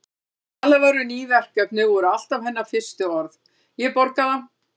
Þegar talað var um ný verkefni voru alltaf hennar fyrstu orð: Ég borga það